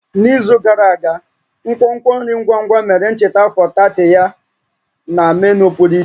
N'izu gara aga, nkwonkwo nri ngwa ngwa mere ncheta afọ 30 ya na menu pụrụ iche